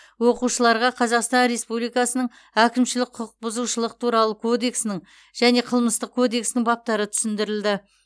оқушыларға қазақстан республикасының әкімшілік құқық бұзушылық туралы кодексінің және қылмыстық кодексінің баптары түсіндірілді